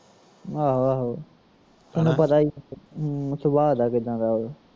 ਆਹੋ ਆਹੋ ਤੈਨੂੰ ਪਤਾ ਈ ਸੁਬਾ ਦਾ ਕਿੱਦਾਂ ਦਾ ਓਹ